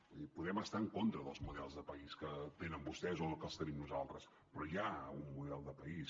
vull dir podem estar en contra dels models de país que tenen vostès o els que tenim nosaltres però hi ha un model de país